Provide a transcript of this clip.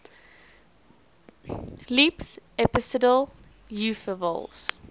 leaps episodal upheavals